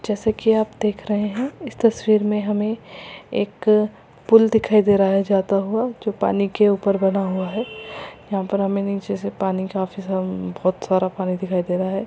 जैसे की आप देख रहे हैं इस तस्वीर मे हमे एक पुल दिखाई दे रहा है जाता हुआ जो पानी के ऊपर बना हुआ है यहाँ पर हमे नीचे काफी सारा बोहत सारा पानी दिखाई दे रहा है ।